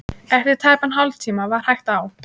Eftir tæpan hálftíma var hægt á.